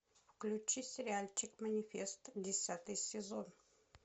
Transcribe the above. включи сериальчик манифест десятый сезон